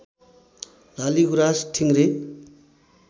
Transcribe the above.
लाली गुराँस ठिँग्रे